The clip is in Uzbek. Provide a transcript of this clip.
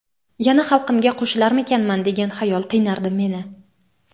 yana xalqimga qo‘shilarmikanman degan xayol qiynardi meni.